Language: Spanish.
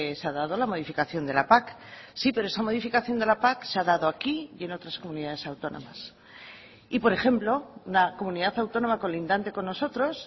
se ha dado la modificación de la pac sí pero esa modificación de la pac se ha dado aquí y en otras comunidades autónomas y por ejemplo una comunidad autónoma colindante con nosotros